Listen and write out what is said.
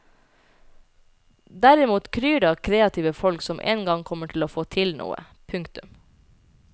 Derimot kryr det av kreative folk som en gang kommer til å få til noe. punktum